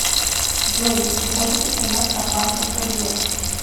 джой не приходит смс от банка что делать